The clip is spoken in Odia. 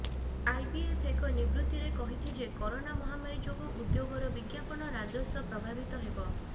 ଆଇବିଏଫ୍ ଏକ ବିବୃତ୍ତିରେ କହିଛି ଯେ କରୋନା ମହାମାରୀ ଯୋଗୁଁ ଉଦ୍ୟୋଗର ବିଜ୍ଞାପନ ରାଜସ୍ବ ପ୍ରଭାବିତ ହେବ